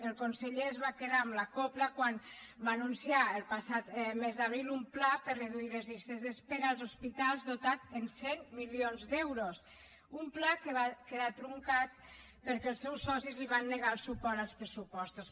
el conseller es va quedar amb la cobla quan va anunciar el passat mes d’abril un pla per a reduir les llistes d’espera als hospitals dotat amb cent milions d’euros un pla que va quedar truncat perquè els seus socis li van negar el suport als pressupostos